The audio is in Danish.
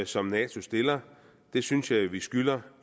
som nato stiller det synes jeg jo vi skylder